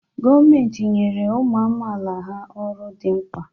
Gọọmentị nyere ụmụ amaala ha ọrụ dị mkpa.